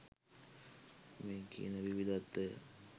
මේ කියන විවිධත්වය